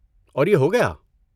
اور یہ ہو گیا؟